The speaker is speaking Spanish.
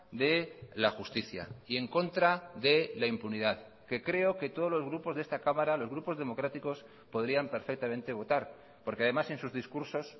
de la justicia y en contra de la impunidad que creo que todos los grupos de esta cámara los grupos democráticos podrían perfectamente votar porque además en sus discursos